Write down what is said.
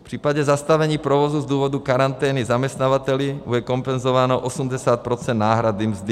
V případě zastavení provozu z důvodu karantény zaměstnavateli bude kompenzováno 80 % náhrady mzdy.